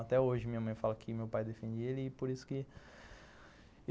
Até hoje minha mãe fala que meu pai defendia ele e por isso que